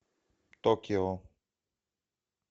токио